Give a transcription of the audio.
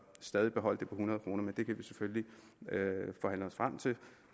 stadig beholde det på hundrede kroner men det kan vi selvfølgelig forhandle os frem til